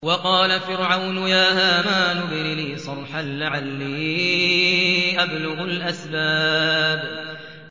وَقَالَ فِرْعَوْنُ يَا هَامَانُ ابْنِ لِي صَرْحًا لَّعَلِّي أَبْلُغُ الْأَسْبَابَ